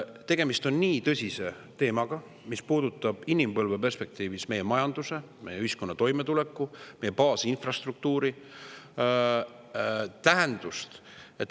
Tegemist on nii tõsise teemaga, mis puudutab inimpõlve perspektiivis meie majanduse, meie ühiskonna toimetuleku baasinfrastruktuuri tähendust.